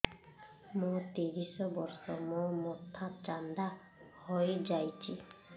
ମୋ ତିରିଶ ବର୍ଷ ମୋ ମୋଥା ଚାନ୍ଦା ହଇଯାଇଛି